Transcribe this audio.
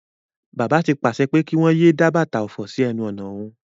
Bàbá ti pàse pé kí wón yéé dá bàtà òfò sí enu ònà òhun.